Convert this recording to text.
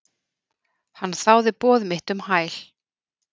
Hann þáði boð mitt um hæl.